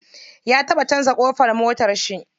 Ya taɓa canza ƙofar motarshi.